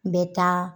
N bɛ taa